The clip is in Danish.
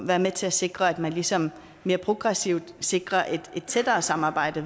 være med til at sikre at man ligesom mere progressivt sikrer et tættere samarbejde